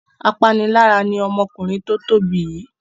Apanilára ni ọmọkùnrin tó tóbi yìí.